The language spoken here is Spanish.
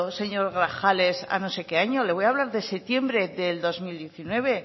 señor grajales a no sé qué año le voy hablar de septiembre de dos mil diecinueve